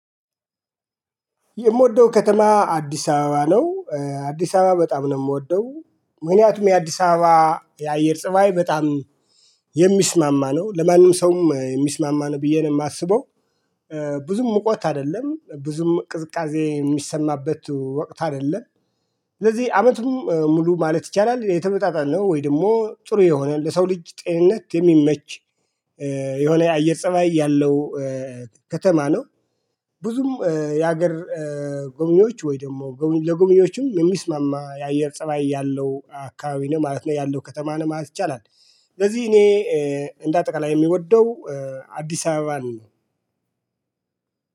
የምወደው ከተማ አዲስ አበባ ነው አዲስ አበባ በጣም ነው የምወደው ምክንያቱም የአዲስ አበባ የአየር ፀባይ በጣም የሚስማማ ነው ለማንም ሰውም የሚስማማ ነው ብዬ ነው የማስበው። ብዙም ሙቅ ወቅት አይደለም ብዙም ቅዝቃዜ የሚሰማበት ወቅት አይደለም። ስለዚህ አመቱን ሙሉ ማለት ይቻላል የተመጣጣነው ወይ ደግሞ ጥሩ የሆነ ለሰው ልጅ ጤነት የሚመች የሆነ የአየር ፀባይ ያለው ከተማ ነው። ብዙም የሀገር ጎብኚዎች ወይ ደግሞ ለጎብኚዎችም የሚስማማ የአየር ፀባይ ያለው አካባቢ ነው ማለት ነው ያለው ከተማ ነው ማለት ይቻላል። ስለዚህ እኔ እንደ አጠቃላይ የምወደው አዲስ አበባን